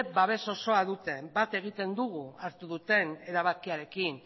babes osoa dute bat egiten dugu hartu duten erabakiarekin